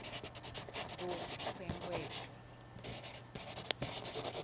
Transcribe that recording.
kunkwekweti